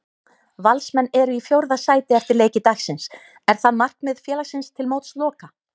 Valsmenn eru í fjórða sæti eftir leiki dagsins, er það markmið félagsins til mótsloka?